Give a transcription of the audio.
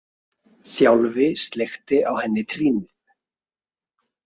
Þjálfi sleikti á henni trýnið.